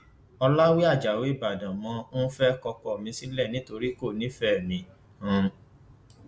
ọlàwé ajáò ìbàdàn mo um fẹẹ kọ ọkọ mi sílẹ nítorí kò nífẹẹ mi um